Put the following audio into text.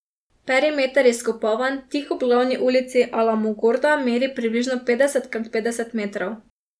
Perimeter izkopavanj tik ob glavni ulici Alamogorda meri približno petdeset krat petdeset metrov.